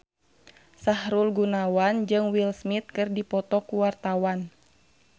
Sahrul Gunawan jeung Will Smith keur dipoto ku wartawan